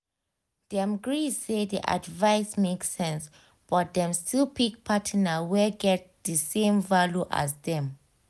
dem gree say d advice make sense but dem still pick partner wey get d same values as dem